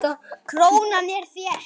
Krónan er þétt.